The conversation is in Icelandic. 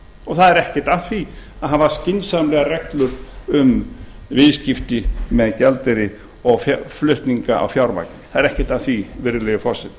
og það er ekkert að því að hafa skynsamlegar reglur um viðskipti með gjaldeyri og flutninga á fjármagni það er ekkert að því virðulegi forseti